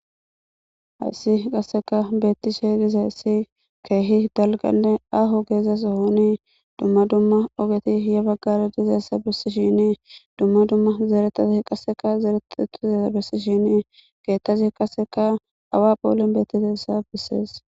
hayssi qasseka beettishe diza hayssi keehi dalganne aho geezas honii dumma dumma ogeti hiya baggara dizeessa bessishinii dumma dumma zeretati qasseka zeeretetisesa bessishinii keettasi qasseka awa phoolen beettitessa bessees.